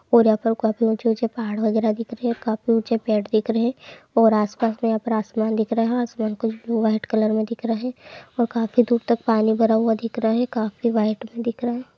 और यहाँ पर काफी ऊँचे ऊँचे पहाड़ वगैरह दिख रहे काफी ऊँचे पेड़ दिख रहे और आस पास में यहाँ पर आसमान दिख रहा आसमान कुछ ब्लू वाइट कलर में दिख रहे और काफी दूर तक पानी भरा हुआ दिख रहे काफी वाइट मे दिख रहे |